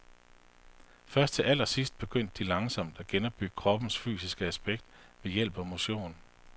Først til allersidst begyndte de langsomt at genopbygge kroppens fysiske aspekt ved hjælp af motion.